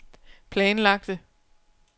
planlagte